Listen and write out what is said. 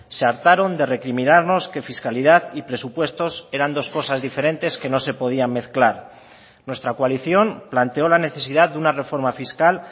se hartaron de recriminarnos que fiscalidad y presupuestos eran dos cosas diferentes que no se podían mezclar nuestra coalición planteó la necesidad de una reforma fiscal